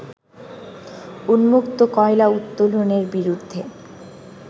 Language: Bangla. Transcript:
উন্মুক্ত কয়লা উত্তোলনের বিরুদ্ধে